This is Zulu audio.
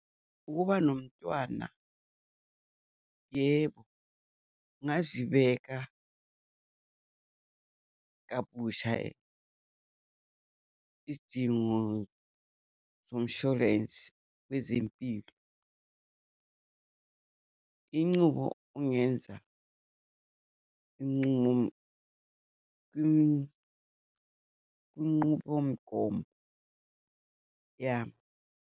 Ukuba nomntwana, yebo, kungazibeka kabusha izidingo zomshorensi wezempilo. Incubo ongenza iyincumo kunqubomgomo yami.